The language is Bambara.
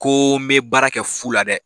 Ko n be baara kɛ fu la dɛ!